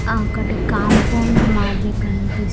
ఆ ఒకటి కాంపౌండ్ మాదిరి కనిపిస్--